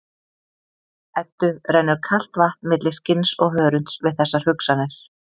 Eddu rennur kalt vatn milli skinns og hörunds við þessar hugsanir.